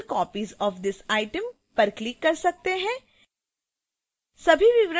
add multiple copies of this item पर click कर सकते हैं